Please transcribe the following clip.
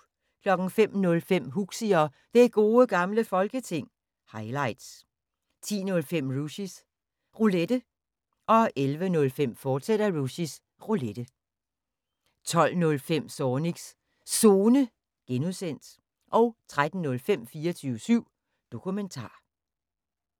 05:05: Huxi og Det Gode Gamle Folketing – highlights 10:05: Rushys Roulette 11:05: Rushys Roulette, fortsat 12:05: Zornigs Zone (G) 13:05: 24syv Dokumentar